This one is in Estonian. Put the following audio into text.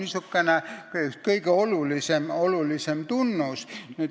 See on kõige olulisem tunnus.